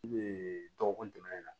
I bɛ dɔgɔkun dɛmɛ na